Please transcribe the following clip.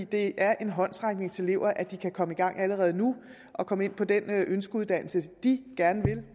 det er en håndsrækning til eleverne at de kan komme i gang allerede nu og komme ind på den ønskeuddannelse de gerne vil